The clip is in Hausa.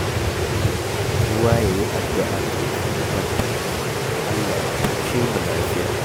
Kowa ya yi addu'a kafin ya kwanta: Allah ya tashe mu lafiya.